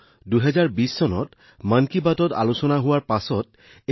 কিন্তু ২০২০ চনৰ পিছত যেতিয়া ইয়াক মন কী বাতত উল্লেখ কৰা হৈছিল বহুতো পৰিৱৰ্তন হৈছিল